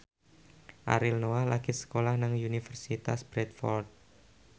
Ariel Noah lagi sekolah nang Universitas Bradford